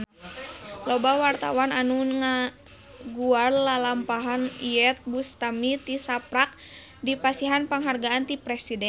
Loba wartawan anu ngaguar lalampahan Iyeth Bustami tisaprak dipasihan panghargaan ti Presiden